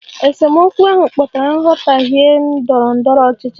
Esemokwu ahụ kpatara nghọtahie ndọrọ ndọrọ ọchịchị